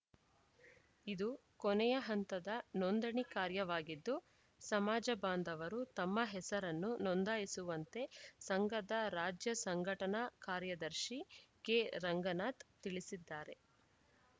ಇದು ಕೊನೆಯ ಹಂತದ ನೋಂದಣಿ ಕಾರ್ಯವಾಗಿದ್ದು ಸಮಾಜ ಬಾಂಧವರು ತಮ್ಮ ಹೆಸರನ್ನು ನೋಂದಾಯಿಸುವಂತೆ ಸಂಘದ ರಾಜ್ಯ ಸಂಘಟನಾ ಕಾರ್ಯದರ್ಶಿ ಕೆ ರಂಗನಾಥ್‌ ತಿಳಿಸಿದ್ದಾರೆ